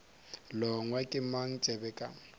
longwa ke mang tsebe ka